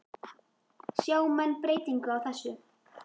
Sjá menn breytingu á þessu?